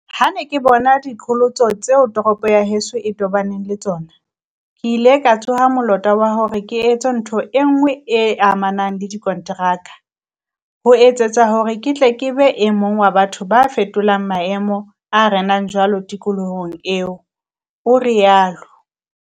"Ha ke ne ke bona diqholotso tseo toropo ya heso e tobaneng le tsona, ke ile ka tsoha molota wa hore ke etse ntho enngwe e amanang le dikonteraka, ho etsetsa hore ke tle ke be e mong wa batho ba tla fetola maemo a renang jwale tikolohong eo," o rialo.